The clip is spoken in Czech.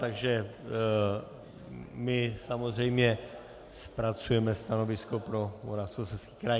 Takže my samozřejmě zpracujeme stanovisko pro Moravskoslezský kraj.